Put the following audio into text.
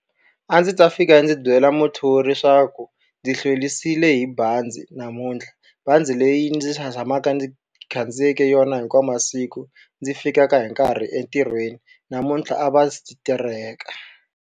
A ndzi ta fika ndzi byela muthori leswaku ndzi hlwerisiwe hi bazi namuntlha. Bazi leyi ndzi tshamaka ndzi khandziyeke yona hinkwawu masiku ndzi fikaka hi nkarhi entirhweni, namuntlha a va tereka.